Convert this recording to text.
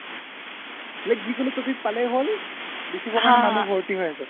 like যি কোনো topic তুমি পালেই হ্'ল লিখিব কাৰনে তাত মানুহ ভৰ্তি হৈ আছে